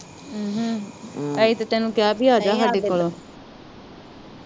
ਅਮ ਅਸੀ ਤਾ ਤੈਨੂੰ ਕਿਹਾ ਵੀ ਆਜਾ ਸਾਡੇ ਕੋਲੋਂ